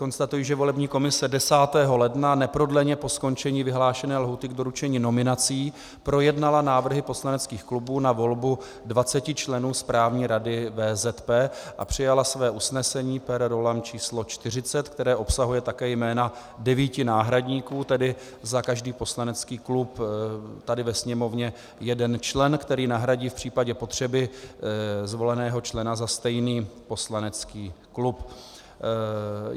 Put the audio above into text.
Konstatuji, že volební komise 10. ledna neprodleně po skončení vyhlášené lhůty k doručení nominací projednala návrhy poslaneckých klubů na volbu 20 členů Správní rady VZP a přijala své usnesení per rollam číslo 40, které obsahuje také jména devíti náhradníků, tedy za každý poslanecký klub tady ve Sněmovně jeden člen, který nahradí v případě potřeby zvoleného člena za stejný poslanecký klub.